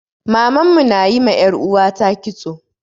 Maman mu na yi ma 'yar uwata kitso.